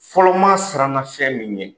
Fɔlɔmaa siranna fɛn min ɲɛ,